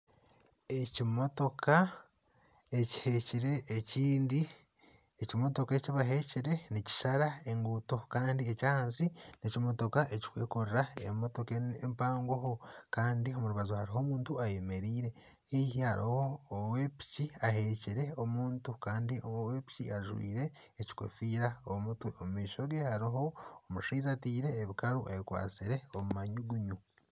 Ekimotoka ekihekire ekindi , ekimotoka ekibahekire nikishara enguuto Kandi eky'ahansi n'ekimotoka ekikwekorera emotoka empangoho Kandi omu rubaju hariho omuntu ayemereire haihi hariho owa piki ahekire omuntu Kandi owa piki ajwire ekikofiira omu mutwe , omu maisho ge hariho omushaija atiire ebikaru ayekwatsire omu manyugunyu.